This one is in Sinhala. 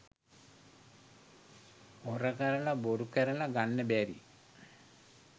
හොර කරල බොරු කරල ගන්න බැරි